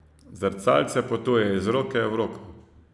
Zrcalce potuje iz roke v roko.